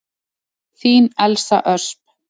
Þín Elsa Ösp.